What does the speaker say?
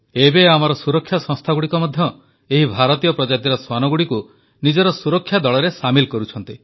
ଏବେ ଆମର ସୁରକ୍ଷା ସଂସ୍ଥାଗୁଡ଼ିକ ମଧ୍ୟ ଏହି ଭାରତୀୟ ପ୍ରଜାତିର ଶ୍ୱାନଗୁଡ଼ିକୁ ନିଜର ସୁରକ୍ଷା ଦଳରେ ସାମିଲ୍ କରୁଛନ୍ତି